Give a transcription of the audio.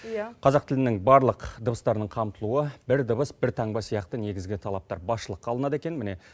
иә қазақ тілінің барлық дыбыстарының қамтылуы бір дыбыс бір таңба сияқты негізгі талаптар басшылыққа алынады екен міне